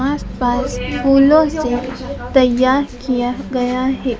आस पास फूलों से तैयार किया गया है।